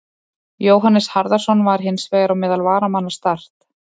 Jóhannes Harðarson var hins vegar á meðal varamanna Start.